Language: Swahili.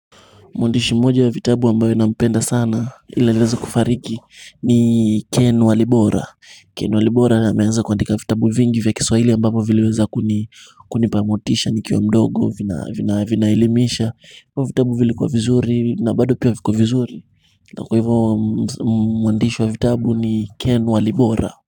Mwandishi mmoja ya vitabu ambayo nampenda sana ila aliweza kufariki ni Ken Walibora. Ken Walibora na ameanza kuandika vitabu vingi vya kiswahili ambavyo viliweza kunipa motisha nikiwa mdogo vinaelimisha. Hivyo vitabu vilikuwa vizuri na bado pia viko vizuri. Na kwa hivyo mwandishi wa vitabu ni Ken Walibora.